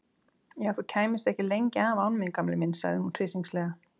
Já, þú kæmist ekki lengi af án mín gamli minn sagði hún hryssingslega.